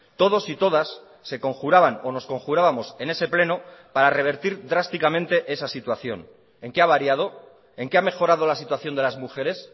todos y todas se conjuraban o nos conjurábamos en ese pleno para revertir drásticamente esa situación en qué ha variado en qué ha mejorado la situación de las mujeres